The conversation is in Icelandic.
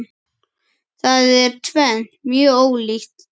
Það er tvennt mjög ólíkt.